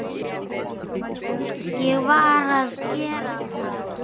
Ég varð að gera það.